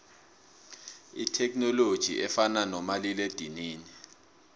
ithekhininoloji efana nomalila edinini